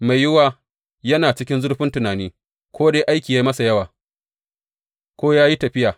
Mai yiwuwa yana cikin zurfin tunani, ko dai aiki ya yi masa yawa, ko ya yi tafiya.